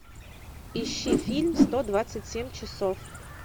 ищи фильм сто двадцать семь часов